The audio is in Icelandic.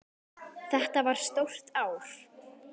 Þetta var stórt ár.